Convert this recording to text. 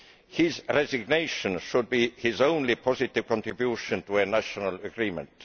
His resignation should be his only positive contribution to a national agreement.